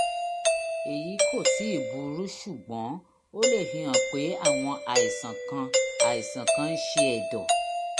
èyí kò tíì burú ṣùgbọ́n ó lè fihàn pé àwọn àìsàn kan àìsàn kan ń ṣe ẹ̀dọ̀